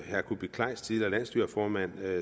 herre kuupik kleist tidligere landsstyreformand